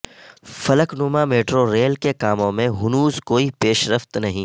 فلک نما metro rail کے کاموں میں ہنوز کوئی پیشرفت نہیں